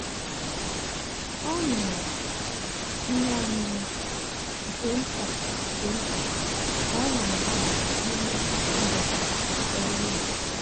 ọ ṅụrụ ihe ọṅụṅụ nke nta nke nta ka ọ na-adaba n'ime ụbọchị ọrụ ya.